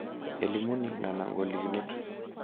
Elimuni nena golikinot